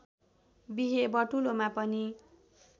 बिहे बटुलोमा पनि